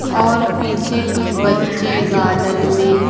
और पीछे कुछ बच्चे गार्डन में--